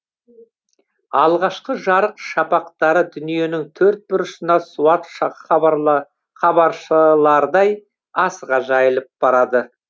алғашқы жарық шапақтары дүниенің төрт бұрышына суытша хабаршылардай асыға жайылып барады